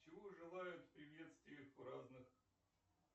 чего желают в приветствиях в разных